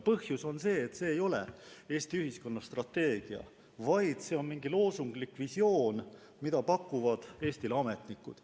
Põhjus on selles, et see ei ole Eesti ühiskonna strateegia, vaid see on mingi loosunglik visioon, mida pakuvad Eestile ametnikud.